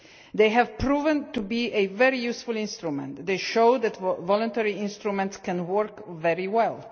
These have proven to be a very useful instrument and show that voluntary instruments can work very well.